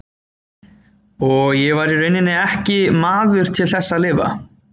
Og ég var í rauninni ekki maður til þess að lifa.